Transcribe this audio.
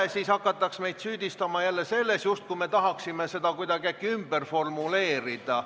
Vastasel juhul hakataks meid süüdistama selles, et me äkki tahame teksti kuidagi ümber formuleerida.